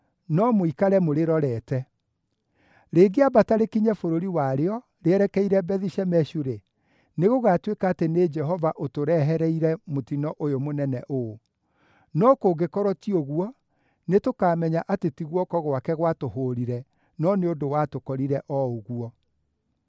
no mũikare mũrĩrorete. Rĩngĩambata rĩkinye bũrũri warĩo, rĩerekeire Bethi-Shemeshu-rĩ, nĩgũgatuĩka atĩ nĩ Jehova ũtũrehereire mũtino ũyũ mũnene ũũ. No kũngĩkorwo ti ũguo, nĩtũkamenya atĩ ti guoko gwake gwatũhũũrire, no nĩ ũndũ watũkorire o ũguo.”